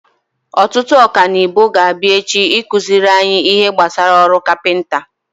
Ọtụtụ ọkanibo ga-abịa echi ịkụziri anyị ihe gbasara ọrụ kapinta.